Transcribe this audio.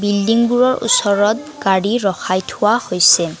বিল্ডিংবোৰৰ ওচৰত গাড়ী ৰখাই থোৱা হৈছে।